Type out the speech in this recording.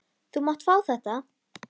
Þú mátt fá þetta.